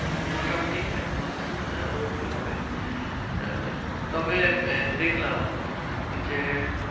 উম মোটামুটি এক মাস হ্যাঁ ওরকমই হবে। আহ তবে দেখলাম যে